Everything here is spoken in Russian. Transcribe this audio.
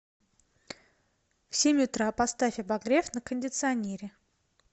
в семь утра поставь обогрев на кондиционере